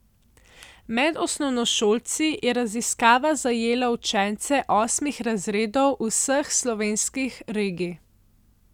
Med osnovnošolci je raziskava zajela učence osmih razredov vseh slovenskih regij.